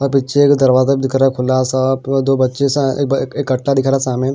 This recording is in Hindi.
पीछे एक दरवाजा दिख रहा है खुना सा दो बच्चे से एक कट्टा दिखा सामने।